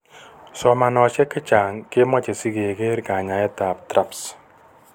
Somanosiek chechaang keemoche sikekeer kanyaayetab TRAPS.